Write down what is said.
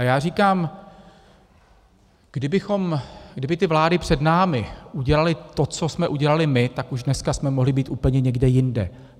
A já říkám, kdyby ty vlády před námi udělaly to, co jsme udělali my, tak už dneska jsme mohli být úplně někde jinde.